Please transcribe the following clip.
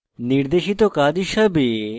নির্দেশিত কাজ হিসাবে